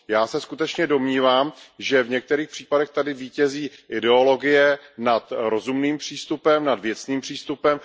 Já se skutečně domnívám, že v některých případech tady vítězí ideologie nad rozumným přístupem, nad věcným přístupem.